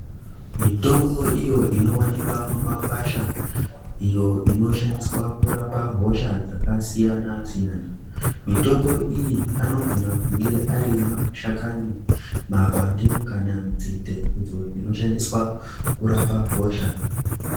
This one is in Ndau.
Mitombo iyo inowanikwa mumakwasha iyo inoshandiswa kurape hosha dzakasiyana siyana. Mitombo iyi anogona kunge ari mashakani, mapande kana nzinde idzo dzinoshandiswa kurapa hosha.